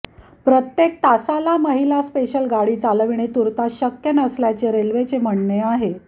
प्रत्येक तासाला महिला स्पेशल गाडी चालविणे तूर्तास शक्य नसल्याचे रेल्वेचे म्हणणे आहे